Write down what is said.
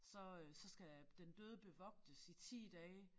Så øh så skal den døde bevogtes i 10 dage